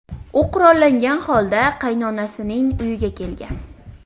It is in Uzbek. u qurollangan holda qaynonasining uyiga kelgan.